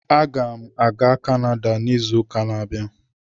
Aga m aga Kanada n'izu ụka ọzọ.